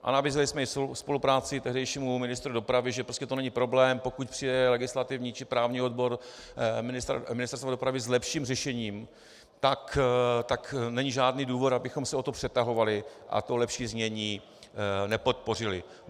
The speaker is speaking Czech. A nabízeli jsme i spolupráci tehdejšími ministru dopravy, že prostě to není problém, pokud přijde legislativní či právní odbor Ministerstva dopravy s lepším řešením, tak není žádný důvod, abychom se o to přetahovali a to lepší znění nepodpořili.